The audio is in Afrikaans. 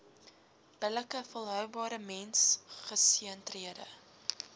billike volhoubare mensgesentreerde